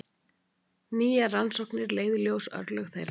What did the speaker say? Nýjar rannsóknir leiða í ljós örlög þeirra.